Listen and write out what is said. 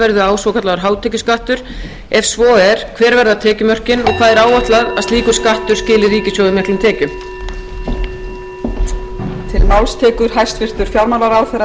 verði á svokallaður hátekjuskattur ef svo er hver verða tekjumörkin og hvað er áætlað að slíkur skattur skili ríkissjóði miklum tekjum